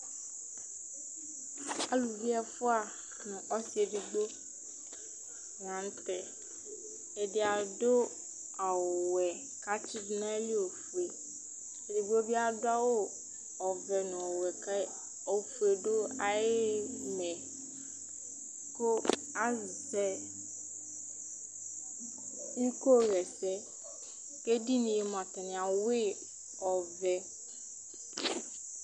Alʋvi ɛfʋa nʋ ɔsi ɛdigbo la ntɛ Ɛdí adu ɔwɛ kʋ atsidu nʋ ayìlí ɔfʋe Ɛdigbo bi adu awu ɔvɛ nʋ ɔwɛ kʋ ɔfʋe du ayìlí kʋ azɛ iko ɣɛsɛ kʋ ɛdiní ye atani awʋi ɔvɛ